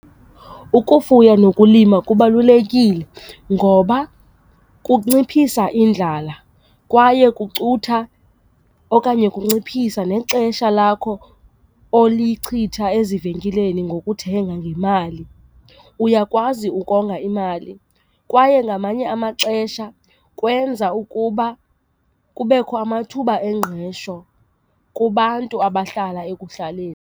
Ukufuya nokulima kubalulekile ngoba kunciphisa indlala kwaye kucutha okanye kunciphisa nexesha lakho olichitha ezivenkileni ngokuthenga ngemali. Uyakwazi ukonga imali kwaye ngamanye amaxesha kwenza ukuba kubekho amathuba engqesho kubantu abahlala ekuhlaleni.